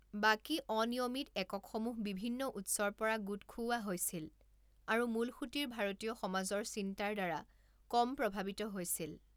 বাকী অনিয়মিত এককসমূহ বিভিন্ন উৎসৰ পৰা গোট খুওৱা হৈছিল আৰু মূলসুঁতিৰ ভাৰতীয় সমাজৰ চিন্তাৰ দ্বাৰা কম প্ৰভাৱিত হৈছিল।